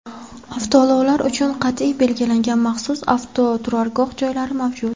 Avtoulovlar uchun qat’iy belgilangan maxsus avtoturargoh joylari mavjud.